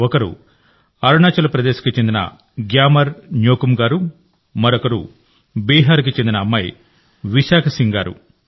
ఒకరు అరుణాచల్ ప్రదేశ్కు చెందిన గ్యామర్ న్యోకుమ్ గారు మరొకరు బీహార్కి చెందిన అమ్మాయి విశాఖ సింగ్ గారు